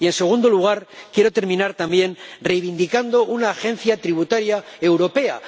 Y, en segundo lugar, quiero terminar también reivindicando una agencia tributaria europea.